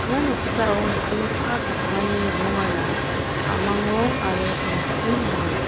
ia noksao nikenggipa pakmani rongara a·mang rong aro tangsim ong·a.